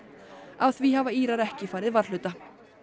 af því hafa Írar ekki farið varhluta